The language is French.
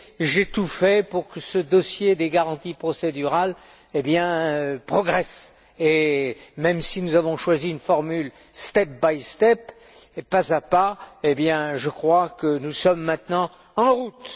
j'ai tout fait pour que ce dossier des garanties procédurales progresse, et même si nous avons choisi une formule step by step pas à pas, je crois que nous sommes maintenant bien en route.